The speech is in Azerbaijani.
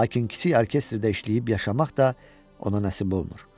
Lakin kiçik orkestrdə işləyib yaşamaq da ona nəsib olmur.